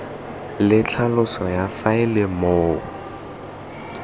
le tlhaloso ya faele moo